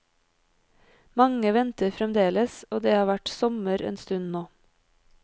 Mange venter fremdeles, og det har vært sommer en stund nå.